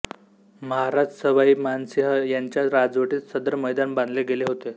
महाराज सवाई मानसिंह यांच्या राजवटीत सदर मैदान बांधले गेले होते